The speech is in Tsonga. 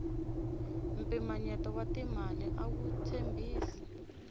mpimanyeto wa timali awu tshembisi